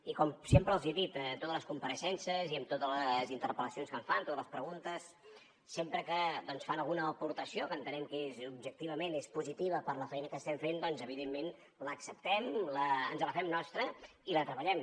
i com sempre els he dit a totes les compareixences i en totes les interpel·lacions que em fan totes les preguntes sempre que fan alguna aportació que entenem que objectivament és positiva per a la feina que estem fent doncs evidentment l’acceptem ens la fem nostra i la treballem